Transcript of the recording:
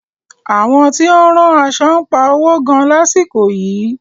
Àwọn tí ó ń rán aṣo ń pa owo gan lásìkò yìí.